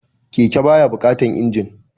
Keke ba ya buƙatan injin